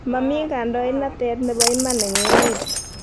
mami kandoindatet nebo iman eng emet